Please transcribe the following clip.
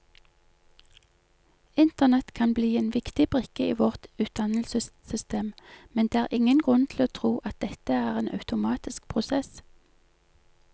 Internett kan bli en viktig brikke i vårt utdannelsessystem, men det er ingen grunn til å tro at dette er en automatisk prosess.